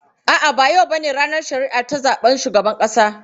A'a, ba yau bane ranar shari'a ta zaben shugaban ƙasa.